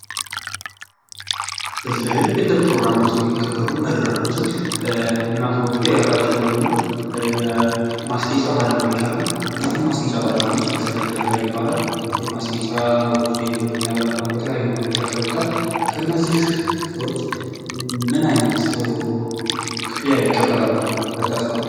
ለተለያዩ የልደት ፕሮግራሞች የሚሆኑ መድረኮችን የሚያስጌጡ የተለያዩ የሆኑ የማስጌጫ ባለሙያዎች አሉ። እነዚም የማስጌጫዎች ለሰርግ እና ለተለያዩ በአላት የማስጌጫዎች እና መንገድ ያከብሩታል። ከነዚህ ሰዎች ምን አይነት ክፍያ ይቀበላሉ ብላቹ ታስባላችሁ?